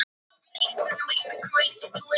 Bætur eru jafnan í formi peningagreiðslu.